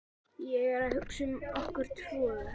Ég er að hugsa um okkur tvö.